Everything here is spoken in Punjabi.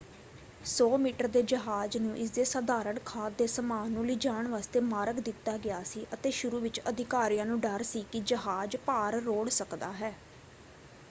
100 ਮੀਟਰ ਦੇ ਜਹਾਜ਼ ਨੂੰ ਇਸਦੇ ਸਧਾਰਣ ਖਾਦ ਦੇ ਸਮਾਨ ਨੂੰ ਲਿਜਾਣ ਵਾਸਤੇ ਮਾਰਗ ਦਿੱਤਾ ਗਿਆ ਸੀ ਅਤੇ ਸ਼ੁਰੂ ਵਿੱਚ ਅਧਿਕਾਰੀਆਂ ਨੂੰ ਡਰ ਸੀ ਕਿ ਜਹਾਜ਼ ਭਾਰ ਰੋੜ੍ਹ ਸਕਦਾ ਹੈ।